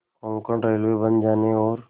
Konkan railway बन जाने और